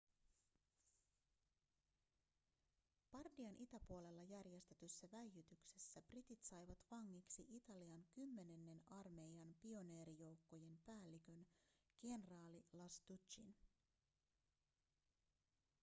bardian itäpuolella järjestetyssä väijytyksessä britit saivat vangiksi italian kymmenennen armeijan pioneerijoukkojen päällikön kenraali lastuccin